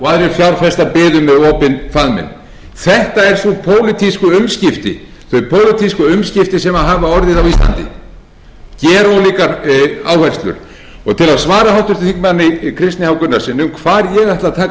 með opinn faðminn þetta eru þau pólitísku umskipti sem hafa orðið á íslandi gerólíkar áherslur til að svara háttvirtur þingmaður kristni h gunnarssyni um hvar ég ætli að taka